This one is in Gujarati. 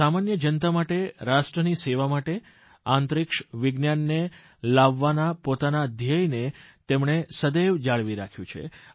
સામાન્ય જનતા માટે રાષ્ટ્રની સેવા માટે અંતરિક્ષ વિજ્ઞાનને લાવવાના પોતાના ધ્યેયને તેમણે સદૈવ જાળવી રાખ્યું છે